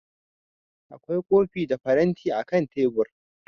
Akwai kofi da faranti akan tebur